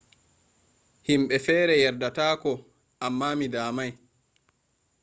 himbe fere yardata ko amma mi damai